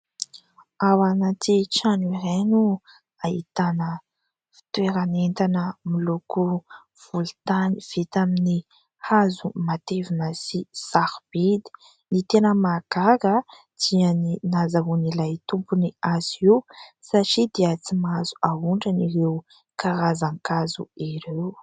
Ao ananty trano iray no ahitana fitoeran'entana miloko volontany vita amin'ny hazo matevina sy sarobidy. Ny tena mahagaga dia ny nahazoan'ilay tompony azy io, satria dia tsy mahazo ahondrana ireo karazan-kazo ireo.